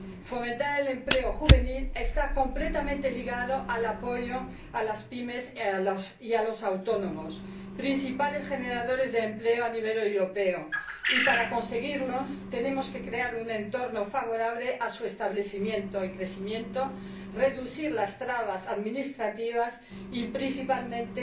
Fomentar el empleo juvenil está completamente ligado al apoyo a las pymes y a los autónomos, principales generadores de empleo a nivel europeo, y, para conseguirlo, tenemos que crear un entorno favorable a su establecimiento y crecimiento, reducir las trabas administrativas y, principalmente,